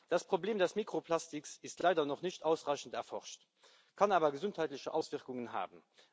Das Problem des Mikroplastiks ist leider noch nicht ausreichend erforscht, kann aber gesundheitliche Auswirkungen haben.